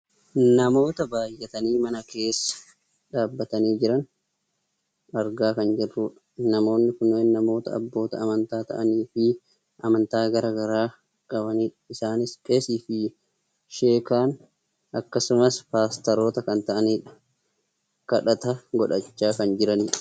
Namoota baayyatanii mana keessa dhaabbatanii jiran argaa kan jirrudha. Namoonni kunneen namoota abboota amantaa ta'aniifi amantaa gara garaa qabanidha isaanis qeesii fi sheeran akkasumas paasteroota kan ta'anidha. Kadhata godhachaa kan jiranidha.